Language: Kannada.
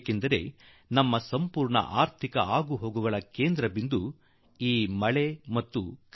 ಏಕೆಂದರೆ ನಮ್ಮ ಇಡೀ ಆರ್ಥಿಕ ಚಟುವಟಿಕೆಯ ಕೇಂದ್ರ ಬಿಂದು ಮಳೆ ಆಗಿರುತ್ತದೆ